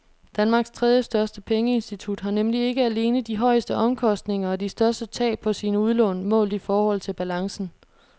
Danmarks tredjestørste pengeinstitut har nemlig ikke alene de højeste omkostninger og de største tab på sine udlån målt i forhold til balancen.